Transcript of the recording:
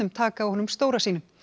taka á honum stóra sínum